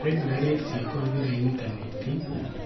Raiburarĩ cia kũhũthĩra intanenti